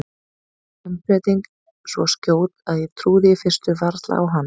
Umbreytingin svo skjót að ég trúði í fyrstu varla á hana.